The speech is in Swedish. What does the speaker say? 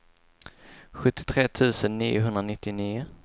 sjuttiotre tusen niohundranittionio